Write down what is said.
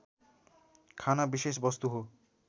खाना विशेष वस्तु हो